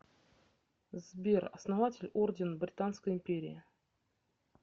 сбер основатель орден британской империи